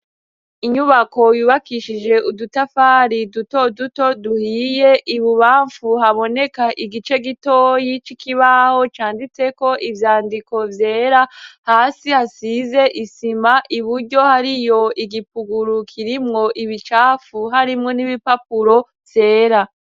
Inyubako yubakishije udutafari duto duto duhiye ibubamfu haboneka igice gitoyi cikibaho canditseko ivyandiko vyera hasi hasize isima i buryo hari yo igipugurukirimwo ibicapfu harimwo n'ibipapuro zera.